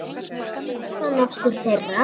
Við skulum skoða nokkur þeirra